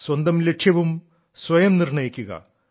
സ്വന്തം ലക്ഷ്യവും സ്വയം നിർണ്ണയിക്കുക